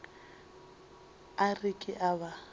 a re ke a ba